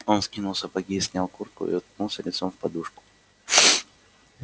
он скинул сапоги снял куртку и уткнулся лицом в подушку